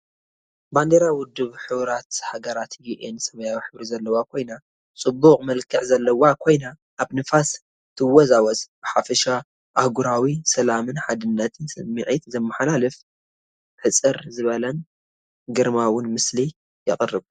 ባንዴራ ውድብ ሕቡራት ሃገራት (UN) ሰማያዊ ሕብሪ ዘለዋ ኮይና ጽቡቕ መልክዕ ዘለዋ ኮይና፡ ኣብ ንፋስ ትወዛወዝ። ብሓፈሻ ኣህጉራዊ ሰላምን ሓድነትን ስምዒት ዘመሓላልፍ ሕጽር ዝበለን ግርማዊን ምስሊ የቕርብ።